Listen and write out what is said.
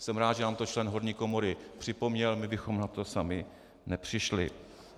Jsem rád, že nám to člen horní komory připomněl, my bychom na to sami nepřišli.